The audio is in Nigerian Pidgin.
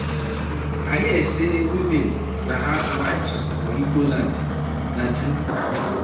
I hear say women na housewives for igbo land. Na true?